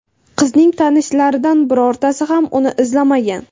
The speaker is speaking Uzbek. Qizning tanishlaridan birortasi ham uni izlamagan.